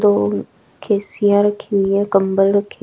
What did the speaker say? दो रखी हुई हैं कंबल रखे--